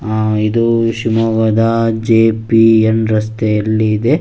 ಹಾ ಇದು ಶಿವಮೊಗ್ಗದ ಜೆ.ಪಿ ಎಂಡ್ ರಸ್ತೆಯಲ್ಲಿ ಇದೆ.